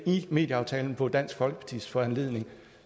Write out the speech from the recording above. i medieaftalen på dansk folkepartis foranledning